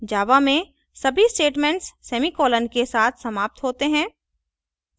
java में सभी statements semicolon के साथ समाप्त होते हैं